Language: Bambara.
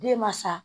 Den ma sa